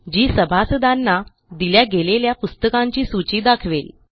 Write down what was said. जी सभासदांना दिल्या गेलेल्या पुस्तकांची सूची दाखवेल